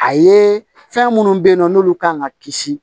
A ye fɛn munnu be yen nɔ n'olu kan ka kisi